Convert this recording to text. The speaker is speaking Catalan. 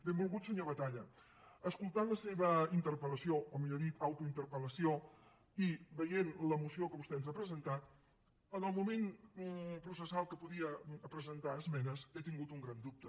benvolgut senyor batalla escoltant la seva interpel·lació o millor dit autointerpel·lació i veient la moció que vostè ens ha presentat en el moment processal que hi podia presentar esmenes he tingut un gran dubte